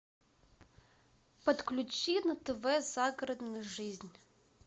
подключи на тв загородную жизнь